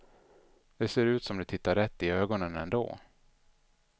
Det ser ut som du tittar rätt i ögonen ändå.